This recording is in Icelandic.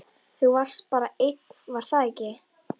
Þú varst bara einn, var það ekki?